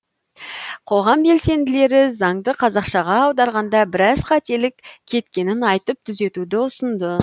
қоғам белсенділері заңды қазақшаға аударғанда біраз қателік кеткенін айтып түзетуді ұсынды